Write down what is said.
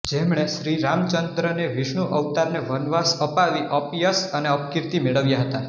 જેમણે શ્રી રામચંદ્રને વિષ્ણુ અવતારને વનવાસ અપાવી અપયશ અને અપકીર્તિ મેળવ્યાં હતાં